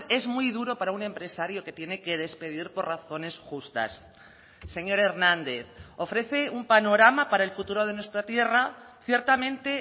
es muy duro para un empresario que tiene que despedir por razones justas señor hernández ofrece un panorama para el futuro de nuestra tierra ciertamente